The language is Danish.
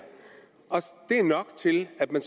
nok til at man